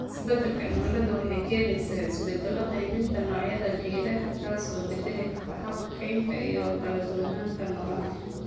Isbeddelka cimiladu waxay keenaysaa isbeddello qaybinta noocyada geedaha, taas oo beddeli karta habka kaynta iyo kala duwanaanta noolaha.